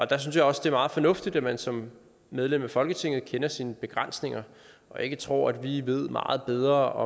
der synes jeg også det er meget fornuftigt at man som medlem af folketinget kender sine begrænsninger og ikke tror at vi ved meget bedre og